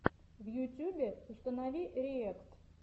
в ютюбе установи риэкт